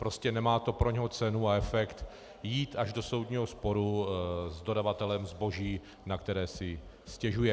Prostě nemá to pro něho cenu a efekt jít až do soudního sporu s dodavatelem zboží, na které si stěžuje.